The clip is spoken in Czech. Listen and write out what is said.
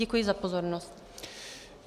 Děkuji za pozornost.